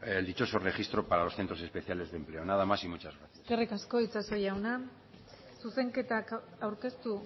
el dichoso registro para los centros especiales de empleo nada más y muchas gracias eskerrik asko itxaso jauna zuzenketak aurkeztu